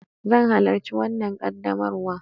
Zan halarci wanna ƙaddamarwa.